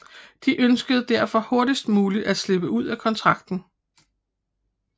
De ønskede derfor hurtigst muligt at slippe ud af kontrakten